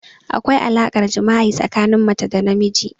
Akwai alaƙar jima'i tsakanin mace da namiji.